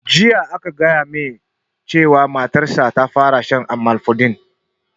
Jiya aka gaya mai matar sa ta fara shan amlodipine